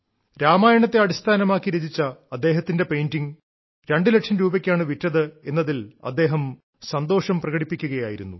രാമായണത്തെ അടിസ്ഥാനമാക്കി രചിച്ച അദ്ദേഹത്തിന്റെ പെയ്ന്റിംഗ് രണ്ടുലക്ഷം രൂപയ്ക്കാണ് വിറ്റത് എന്നതിൽ അദ്ദേഹം സന്തോഷം പ്രകടിപ്പിക്കുകയായിരുന്നു